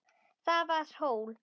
Það var hól.